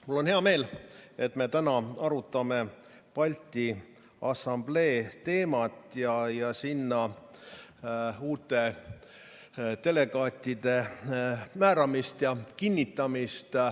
Mul on hea meel, et me täna arutame Balti Assamblee teemat ja sinna uute delegaatide määramist ja kinnitamist.